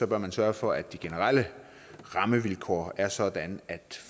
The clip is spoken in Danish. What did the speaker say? bør man sørge for at de generelle rammevilkår er sådan at